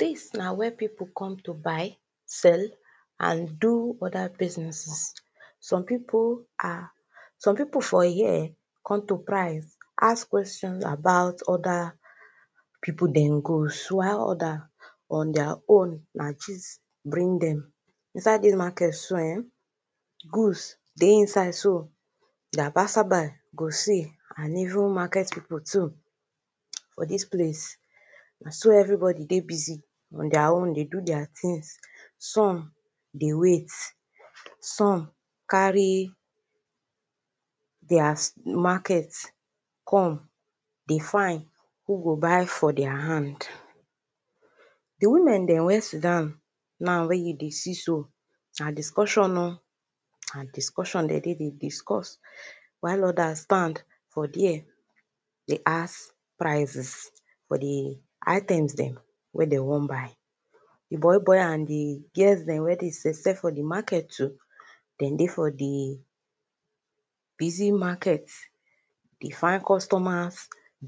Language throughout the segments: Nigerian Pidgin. dis na where pipu come to buy, sell and do other businesses. some pipu are some pipu for here come to price, ask question about other pipu dey go why others na gist bring dem inside dis market so eh goods dey inside so, na passer by go see and even market pipu too for dis place na so everybodi dey busy on dia own dey do their tin, some dey wait some carry their market come dey fine who go buy from their hand. di women dem wen sit down now wey you dey see so, na discussion oh na discussion den dey dey discuss while others stand for there dey ask prices for di items dem wey de won buy. di boi boi and di girls dem wey dey sell sell for di market too, den dey for di busy maket dey find customers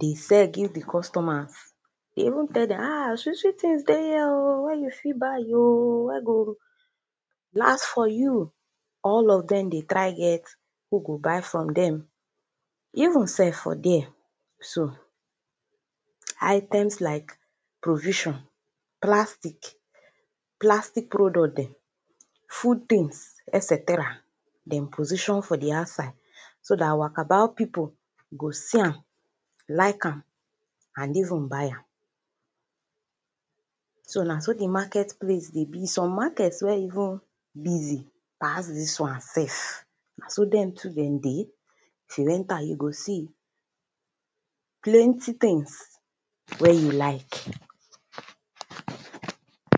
dey sell give di customers dey even tell dem ah sweet sweet tins dey here oh wey you fit buy oh wey go last for you. all of dem dey try get who go buy from dem. even self for there so, items like provisions, plastic, plastic product dem, food tins eseteria, Dem position for the outside so dat wakabout pipu go see am like am and even buy am. so na so di market place dey be. some market wen even busy pass dis wan self na so dem too den dey if u enter you go see plenty tins wen you like.